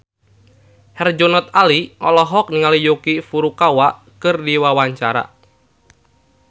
Herjunot Ali olohok ningali Yuki Furukawa keur diwawancara